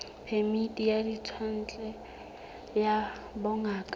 phemiti ya ditswantle ya bongaka